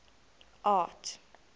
art